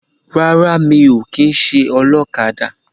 Rárá mi ò kìíse olókadà